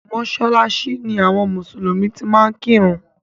Mọ́sálásí ni àwọn mùsùlùmí ti máa ń kírun.